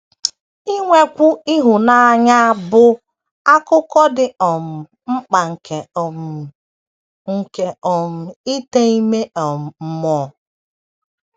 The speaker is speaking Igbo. Inwekwu ịhụnanya bụ akụkụ dị um mkpa nke um nke um ite ime um mmụọ.